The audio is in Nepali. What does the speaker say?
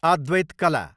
अद्वैत कला